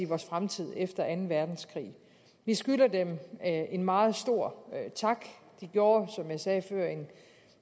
vores fremtid efter anden verdenskrig vi skylder dem en meget stor tak de gjorde som jeg sagde før